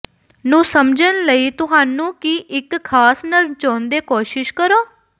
ਨੂੰ ਸਮਝਣ ਲਈ ਤੁਹਾਨੂੰ ਕੀ ਇੱਕ ਖਾਸ ਨਰ ਚਾਹੁੰਦੇ ਕੋਸ਼ਿਸ਼ ਕਰੋ